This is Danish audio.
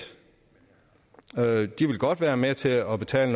godt vil være med til at betale